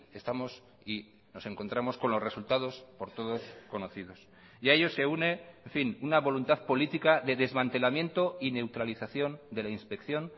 estamos y nos encontramos con los resultados por todos conocidos y a ello se une en fin una voluntad política de desmantelamiento y neutralización de la inspección